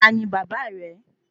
Tani bàbá rẹ?